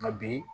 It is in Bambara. Nka bi